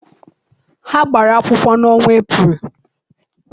Ha gbara akwụkwọ n'ọnwa Eprel.